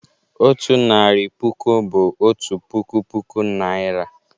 Otu narị puku bụ "otu puku puku Naịra."